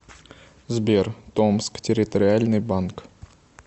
сбер томск территориальный банк